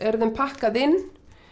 þeim pakkað inn